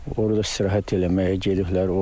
Orada istirahət eləməyə gediblər.